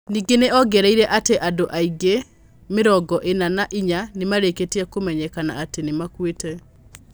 Ningĩ nĩ ongereire atĩ andũ angĩ mĩrongo ina na ĩnya ni marĩkĩtie kũmenyekana atĩ nĩ makuĩte.